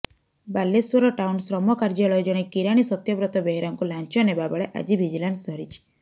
Balasore town ଶ୍ରମ କାର୍ଯ୍ୟାଳୟ ଜଣେ କିରାଣୀ ସତ୍ୟବ୍ରତ ବେହେରାଙ୍କୁ ଲାଂଚ ନେବା ବେଳେ ଆଜି ଭିଜିଲାନ୍ସ ଧରିଛି